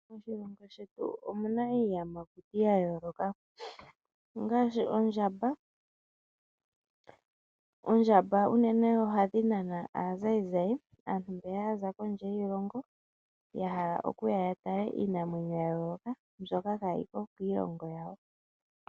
Moshilongo shetu omuna iiyamakuti yayooloka ngaashi ondjamba. Oondjamba unene ohadhi nana aatalelipo mbono yaza kiilongo yayooloka yahala okuya yatale iinamwenyo yayooloka mbyono kaayiko kiilongo yawo.